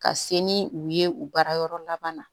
Ka se ni u ye u baara yɔrɔ laban na